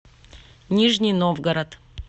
нижний новгород